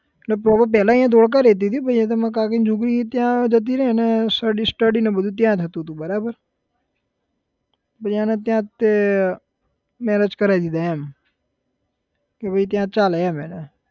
એટલે proper પેલા અહીંયા ધોળકા રહેતી હતી પછી માર કાકીની છોકરી ત્યાં જતી રઈ એને study study ને બધું ત્યાં થતું હતું બરાબર પછી એને ત્યાંજ તે marriage કરાઈ દીધા એમ કે ભાઈ ત્યાં ચાલે એમ એને